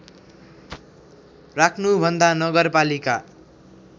राख्नु भन्दा नगरपालिका